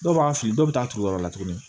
Dɔw b'an fili dɔw bɛ taa turu yɔrɔ wɛrɛ la tuguni